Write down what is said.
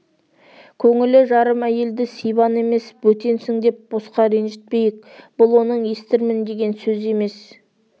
көңілі жарым әйелді сибан емес бөтенсің деп босқа ренжітпейік бұл оның естірмін деген сөзі емес